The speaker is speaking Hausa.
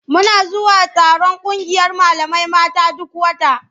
Muna zuwa taron ƙungiyar malamai mata duk wata.